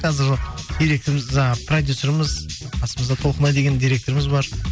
қазір директорымыз жаңа продюсеріміз қасымызда толқынай деген директоріміз бар